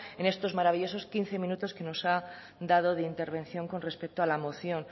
en estos maravillosos quince minutos que nos ha dado de intervención con respecto a la moción